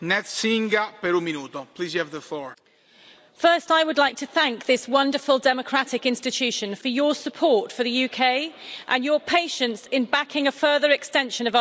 Mr President, first, I would like to thank this wonderful democratic institution for your support for the UK and your patience in backing a further extension of Article